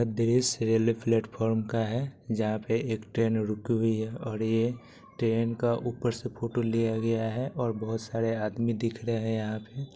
यह दृश्य railway platform का है जहा पे एक ट्रेन रुकी हुई है और ये ट्रेन का ऊपर से फोटो लिया गया है और बहुत सारे आदमी दिख रहे है यहा पे